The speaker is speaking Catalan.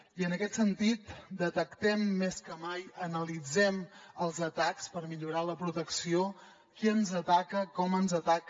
i en aquest sentit detectem més que mai analitzem els atacs per millorar la protecció qui ens ataca com ens ataca